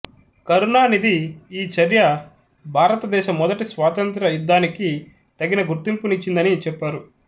కరుణానిధి ఈ చర్య భారతదేశ మొదటి స్వాతంత్ర్య యుద్ధానికి తగిన గుర్తింపునిచ్చిందని చెప్పారు